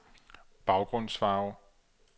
baggrundsfarve